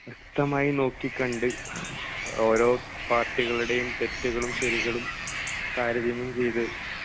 വ്യക്തമായി നോക്കിക്കണ്ട് ഓരോ പാർട്ടികളുടേയും തെറ്റുകളും ശരികളും താരതമ്യം ചെയ്ത്